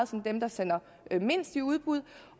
som dem der sender mindst i udbud